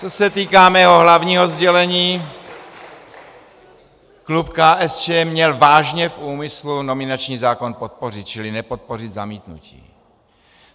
Co se týká mého hlavního sdělení, klub KSČM měl vážně v úmyslu nominační zákon podpořit, čili nepodpořit zamítnutí.